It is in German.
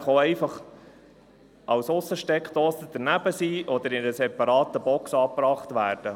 Er kann auch einfach als Aussensteckdose montiert oder in einer separaten Box angebracht werden.